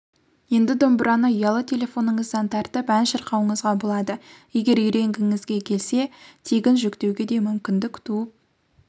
енді домбыраны ұялы телефоныңыздан тартып ән шырқауыңызға болады егер үйренгіңізге келсе тегінжүктеуге де мүмкіндік туып